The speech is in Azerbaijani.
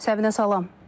Səbinə, salam.